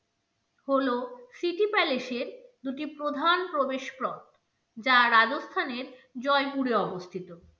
হলো city palace এর দুটি প্রধান প্রবেশ পথ যা রাজস্থানের জয়পুরে অবস্থিত।